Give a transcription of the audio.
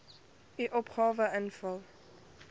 u opgawe invul